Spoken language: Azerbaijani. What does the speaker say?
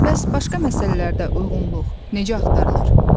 Bəs başqa məsələlərdə uyğunluq necə axtarılır?